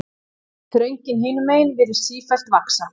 Þröngin hinumegin virðist sífellt vaxa.